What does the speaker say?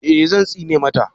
eh Zan tsine mata